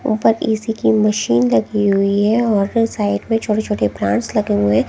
ऊपर ऐसी की मशीन लगी हुई है और साइड में छोटे छोटे प्लांट्स लगे हुए हैं।